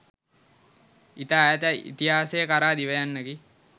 ඉතා ඈත ඉතිහාසය කරා දිව යන්නකි.